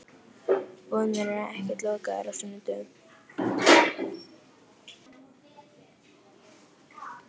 Búðirnar eru ekkert lokaðar á sunnudögum.